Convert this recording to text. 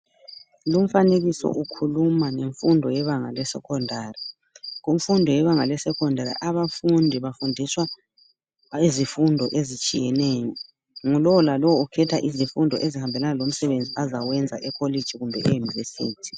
Lumfanekiso ukhuluma ngemfundo yebanga le"secondary" kumfundo yebanga le"secondary " abafundi bafundiswa izifundo ezitshiyeneyo, ngu lowo lalowo ukhetha izifundo ezihambelana lomsebenzi azawenza e" collage" kumbe e"univesity ".